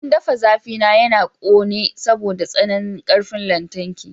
Abin ɗafa zafi na yana ƙone saboda tsananin ƙarfin lantarki.